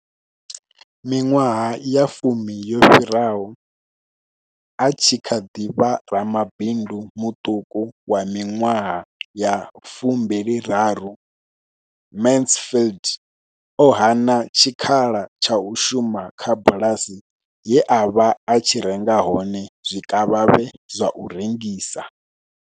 Miṅwaha ya fumi yo fhiraho, a tshi kha ḓi vha ramabindu muṱuku wa miṅwaha ya 23, Mansfield o hana tshikhala tsha u shuma kha bulasi ye a vha a tshi renga hone zwikavhavhe zwa u rengisa.